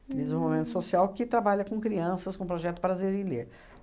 em desenvolvimento social, que trabalha com crianças, com o projeto Prazer em Ler.